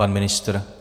Pan ministr?